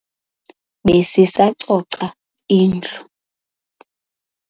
Besisacoca indlu.